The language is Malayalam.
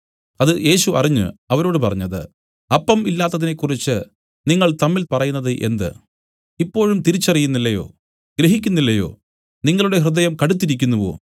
അത് യേശു അറിഞ്ഞ് അവരോട് പറഞ്ഞത് അപ്പം ഇല്ലാത്തതിനെക്കുറിച്ച് നിങ്ങൾ തമ്മിൽ പറയുന്നത് എന്ത് ഇപ്പോഴും തിരിച്ചറിയുന്നില്ലയോ ഗ്രഹിക്കുന്നില്ലയോ നിങ്ങളുടെ ഹൃദയം കടുത്തിരിക്കുന്നുവോ